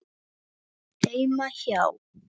Heima hjá